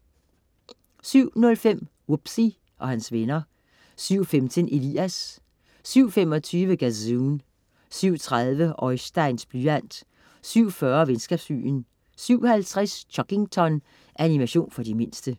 07.05 Wubbzy og hans venner 07.15 Elias 07.25 Gazoon 07.30 Oisteins blyant 07.40 Venskabsbyen 07.50 Chuggington. Animation for de mindste